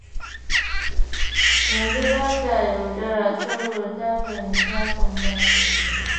Yanzu ba ta yaudara, saboda ta fahimci hakan ba shi da kyau.